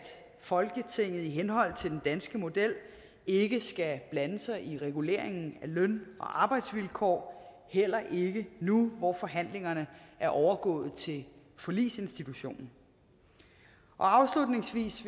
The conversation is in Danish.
folketinget dermed i henhold til den danske model ikke skal blande sig i reguleringen af løn og arbejdsvilkår heller ikke nu hvor forhandlingerne er overgået til forligsinstitutionen afslutningsvis